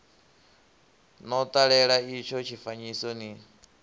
no ṱalela itsho tshifanyiso ni